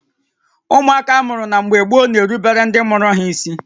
Ụmụaka amụrụ na mgbé gboo na-erubere ndị mụrụ ha ísí